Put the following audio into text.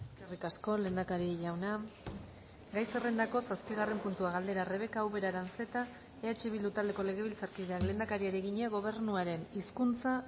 eskerrik asko lehendakari jauna gai zerrendako zazpigarren puntua galdera rebeka ubera aranzeta eh bildu taldeko legebiltzarkideak lehendakariari egina gobernuaren hizkuntza